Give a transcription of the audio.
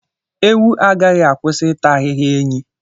Ewu agaghị akwụsị ịta ahịhịa enyí.